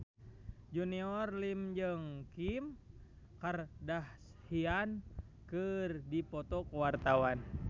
Junior Liem jeung Kim Kardashian keur dipoto ku wartawan